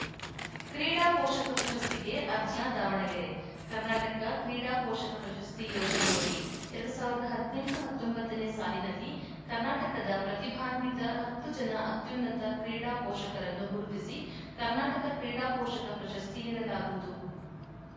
ಕ್ರೀಡಾ ಪೋಷಕ ಪ್ರಶಸ್ತಿಗೆ ಅರ್ಜಿ ದಾವಣಗೆರೆ ಕರ್ನಾಟಕ ಕ್ರೀಡಾ ಪೋಷಕ ಪ್ರಶಸ್ತಿ ಯೋಜನೆಯಡಿ ಎರಡ್ ಸಾವಿರದ ಹದಿನೆಂಟು ಹತ್ತೊಂಬತ್ತ ನೇ ಸಾಲಿನಲ್ಲಿ ಕರ್ನಾಟಕದ ಪ್ರತಿಭಾನ್ವಿತ ಹತ್ತು ಜನ ಅತ್ಯುನ್ನತ ಕ್ರೀಡಾ ಪೋಷಕರನ್ನು ಗುರುತಿಸಿ ಕರ್ನಾಟಕ ಕ್ರೀಡಾ ಪೋಷಕ ಪ್ರಶಸ್ತಿ ನೀಡಲಾಗುವುದು